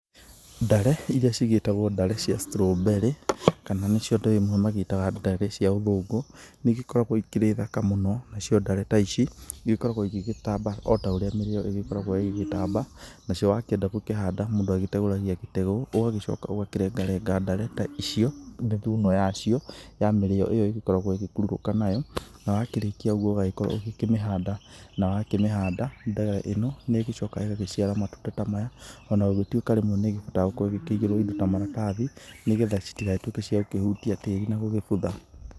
Ndare iria cigĩtagwo ndare cia strawberry kana nĩcio andũ amwe maciĩtaga ndare cia ũthũngũ, nĩigĩkoragwi ikĩrĩ thaka mũno cio ndare ta ici, igĩkoragwo igĩgĩtamba ota ũrĩa mĩrĩo ĩgĩkoragwo ĩgĩtamba, nacio wakĩenda gũkĩhanda mũndũ agĩteũragia gĩteu, ũgacoka ũgakĩrenga renga ndare ta icio, thuno yacio ya mĩrĩo ĩyo ĩkoragwo ĩgĩkururũka nayo, na wakĩrĩkia ũguo ũgagĩkorwo ũgĩkĩmĩhanda, na wakĩmĩhanda mbeũ ĩno nĩgũcoka ĩgĩciara matunda ta maya, ona gũgĩtuĩka rĩmwe nĩgĩbataraga gũkorwo ĩgĩkĩigĩrwo indo ta maratathi, nĩgetha citigagĩtuĩke cia gũkĩhutia tĩri na gũgĩbutha